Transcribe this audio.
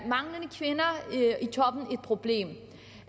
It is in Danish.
problem